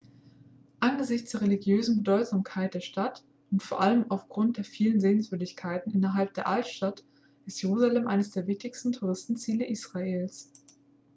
angesichts der religiösen bedeutsamkeit der stadt und vor allem aufgrund der vielen sehenswürdigkeiten innerhalb der altstadt ist jerusalem eines der wichtigsten touristenziele israels